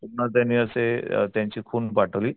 पुन्हा त्यांनी असे त्यांची खून पाठवली.